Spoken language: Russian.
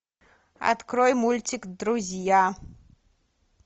открой мультик друзья